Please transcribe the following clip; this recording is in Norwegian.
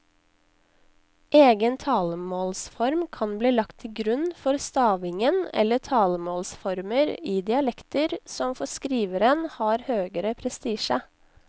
Egen talemålsform kan bli lagt til grunn for stavingen eller talemålsformer i dialekter som for skriveren har høgere prestisje.